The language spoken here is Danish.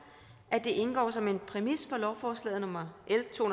at det indgår som en præmis for lovforslag nummer l to